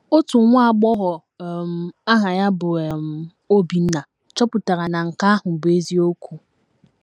Otu nwa agbọghọ um aha ya bụ um Obinna chọpụtara na nke ahụ bụ eziokwu.